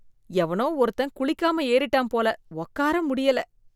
எவனோ ஒருத்தன் குளிக்காம ஏறிட்டான் போல உக்கார முடியல.